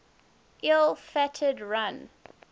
ill fated run